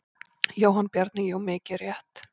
Jóhann Bjarni: Jú mikið rétt.